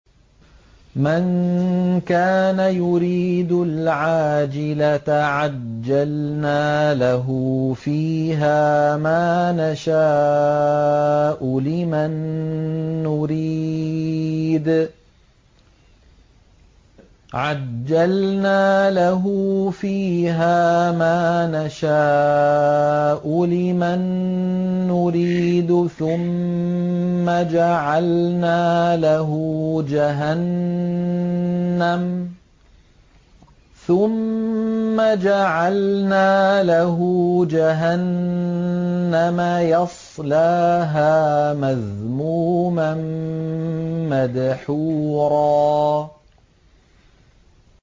مَّن كَانَ يُرِيدُ الْعَاجِلَةَ عَجَّلْنَا لَهُ فِيهَا مَا نَشَاءُ لِمَن نُّرِيدُ ثُمَّ جَعَلْنَا لَهُ جَهَنَّمَ يَصْلَاهَا مَذْمُومًا مَّدْحُورًا